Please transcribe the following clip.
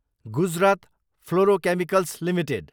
Gujarat fluorochemicals Ltd